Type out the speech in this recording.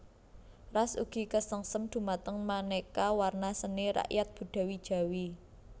Ras ugi kasengsem dumateng manéka warna seni rakyat budaya Jawi